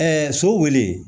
so wele